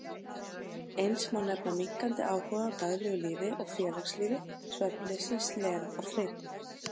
Eins má nefna minnkandi áhuga á daglegu lífi og félagslífi, svefnleysi, slen og þreytu.